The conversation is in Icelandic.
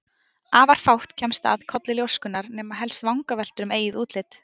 Afar fátt kemst að í kolli ljóskunnar, nema helst vangaveltur um eigið útlit.